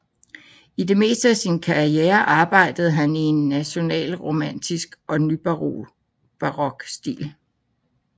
I det meste af sin karriere arbejdede han i en nationalromantisk og nybarok stil